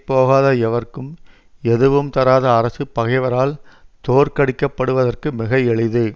போகாத எவர்க்கும் எதுவும் தராத அரசு பகைவரால் தோற்கடிக்கப்படுவதற்கு மிக எளிது